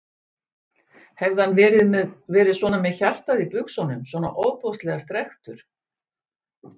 Hefði hann verið svona með hjartað í buxunum, svona ofboðslega strekktur?